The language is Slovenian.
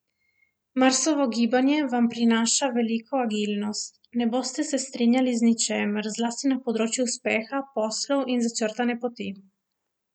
Marsovo gibanje vam prinaša veliko agilnosti, ne boste se strinjali z ničimer, zlasti na področju uspeha, poslov in začrtane poti.